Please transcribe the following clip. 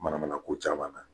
Manamana ko caman na